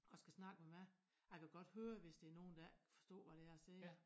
Og skal snakke med mig og jeg kan godt høre hvis det er nogen der ikke kan forstå hvad det er jeg siger